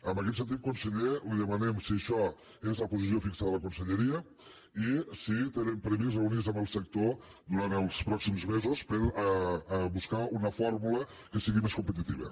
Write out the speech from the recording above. en aquest sentit conseller li demanem si això és la posició fixa de la conselleria i si tenen previst reunir se amb el sector durant els pròxims mesos per buscar una fórmula que sigui més competitiva